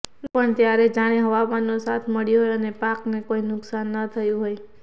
એ પણ ત્યારે જાણે હવામાનનો સાથ મળ્યો હોય અને પાકને કોઈ નુકસાન ન થયું હોય